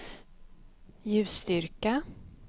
ljusstyrka